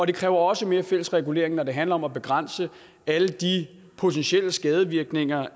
det kræver også mere fælles regulering når det handler om at begrænse alle de potentielle skadevirkninger